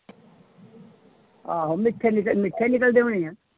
ਆਹੋ ਮਿੱਠੇ ਨਿਕ ਮਿੱਠੇ ਨਿਕਲਦੇ ਹੋਣੇ ਆਂ।